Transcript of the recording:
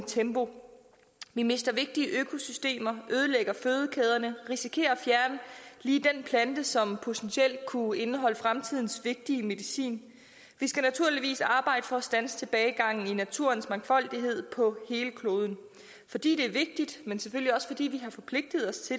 tempo vi mister vigtige økosystemer ødelægger fødekæderne risikerer at fjerne lige den plante som potentielt kunne indeholde fremtidens vigtige medicin vi skal naturligvis arbejde for at standse tilbagegangen i naturens mangfoldighed på hele kloden fordi det er vigtigt men selvfølgelig også fordi vi har forpligtet os